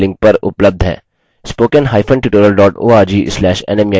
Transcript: * इस mission पर अधिक जानकारी निम्न लिंक पर उपलब्ध है